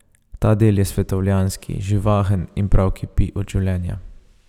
Ta del je svetovljanski, živahen in prav kipi od življenja.